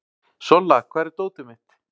Solla, hvar er dótið mitt?